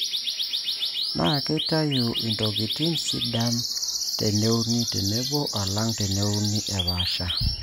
naa keitayu intokitin sidana teneuni tenebo alang' teneuni epaasha.